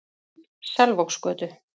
Selvogsgötu